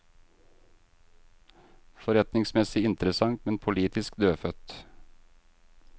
Forretningsmessig interessant, men politisk dødfødt.